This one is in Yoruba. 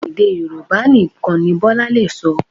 Èdè Yorùbá nìkan ni Bọ́lá lè sọ